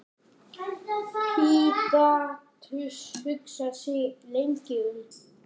Pílatus hugsaði sig lengi um.